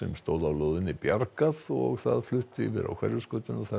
stóð á lóðinni bjargað og það flutt yfir á Hverfisgötu þar